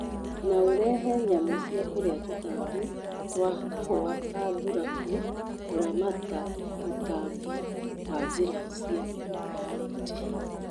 No urehe nyamũ cia kũrĩa tũtambi twa kahũa ta thuraku kũramata tũtambi na njĩra cia biology